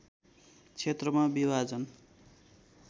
क्षेत्रमा विभाजन